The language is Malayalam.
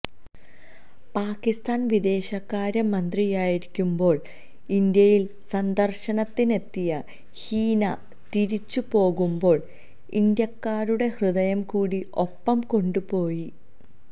പാകിസ്ഥാന് വിദേശകാര്യ മന്ത്രിയായിരിക്കുമ്പോള് ഇന്ത്യയില് സന്ദര്ശനത്തിനെത്തിയ ഹീനാ തിരിച്ചു പോകുമ്പോള് ഇന്ത്യക്കാരുടെ ഹൃദയം കൂടി ഒപ്പം കൊണ്ടു പോയി